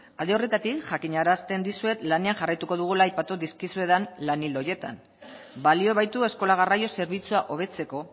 alde horretatik jakinarazten dizuet lanean jarraituko dugula aipatu dizkizuedan lan ildo horietan balio baitu eskola garraio zerbitzua hobetzeko